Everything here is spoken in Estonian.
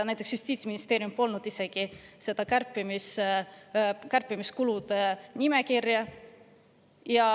Näiteks Justiitsministeeriumil polnud isegi kulude kärpimise nimekirja.